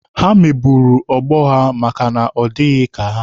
Ha megburu ọgbọ ha maka na ọ dịghị ka ha